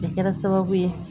A kɛra sababu ye